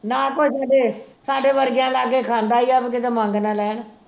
ਨਾ ਕੋਈ ਸਾਡੇ ਸਾਡੇ ਵਰਗਿਆਂ ਲਾਗੇ ਖਾਂਦਾ ਈ ਆ ਕਿਤੇ ਮੰਗ ਨਾ ਲੈਣ